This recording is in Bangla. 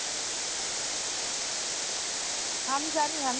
আমি জানি আমি